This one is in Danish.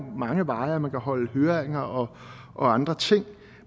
mange veje og at man kan holde høringer og andre ting